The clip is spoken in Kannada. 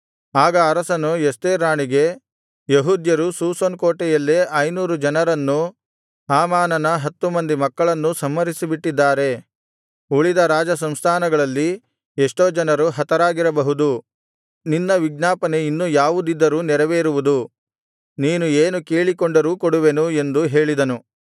ಆಗ ಅರಸನು ಎಸ್ತೇರ್ ರಾಣಿಗೆ ಯೆಹೂದ್ಯರು ಶೂಷನ್ ಕೋಟೆಯಲ್ಲೇ ಐನೂರು ಜನರನ್ನೂ ಹಾಮಾನನ ಹತ್ತು ಮಂದಿ ಮಕ್ಕಳನ್ನೂ ಸಂಹರಿಸಿಬಿಟ್ಟಿದ್ದಾರೆ ಉಳಿದ ರಾಜಸಂಸ್ಥಾನಗಳಲ್ಲಿ ಎಷ್ಟೋ ಜನರು ಹತರಾಗಿರಬಹುದು ನಿನ್ನ ವಿಜ್ಞಾಪನೆ ಇನ್ನು ಯಾವುದಿದ್ದರೂ ನೆರವೇರುವುದು ನೀನು ಏನು ಕೇಳಿಕೊಂಡರೂ ಕೊಡುವೆನು ಎಂದು ಹೇಳಿದನು